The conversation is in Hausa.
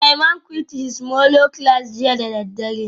Suleiman quite his molo class jiya da daddare